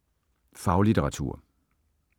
Faglitteratur